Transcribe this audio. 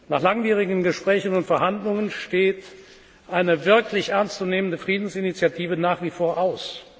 Nach langwierigen Gesprächen und Verhandlungen steht eine wirklich ernstzunehmende Friedensinitiative nach wie vor aus.